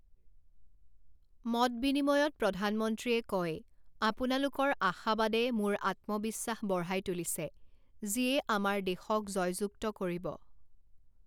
মতবিনিময়ত প্ৰধানমন্ত্ৰীয়ে কয়, আপোনালোকৰ আশাবাদে মোৰ আত্মবিশ্বাস বঢ়াই তুলিছে, যিয়ে আমাৰ দেশক জয়যুক্ত কৰিব।